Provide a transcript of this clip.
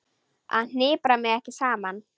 Ég hnipra mig ekki saman.